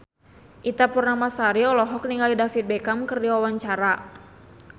Ita Purnamasari olohok ningali David Beckham keur diwawancara